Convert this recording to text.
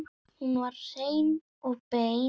Hún var hrein og bein.